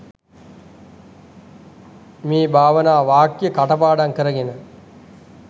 මේ භාවනා වාක්‍ය කටපාඩම් කරගෙන